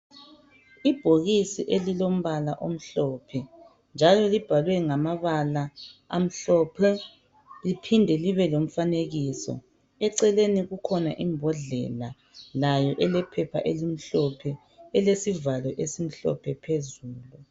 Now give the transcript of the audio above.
Ibhokisi elilo mbala omhlophe njalo libhalwe ngamabala amhlophe liphinde libe lomfanekiso eceleni kukhona imbodlela layo ilephepha elimhlophe elilesivalo esimhlophe phezulu